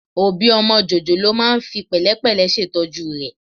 Òbí ọmọ jòjòló máa ń fi pẹ̀lẹ́pẹ̀lẹ́ ṣètọ́jú rẹ̀